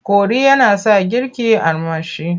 Kori yana sa girki armashi.